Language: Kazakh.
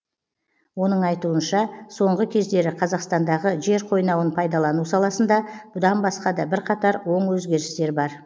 оның айтуынша соңғы кездері қазақстандағы жер қойнауын пайдалану саласында бұдан басқа да бірқатар оң өзгерістер бар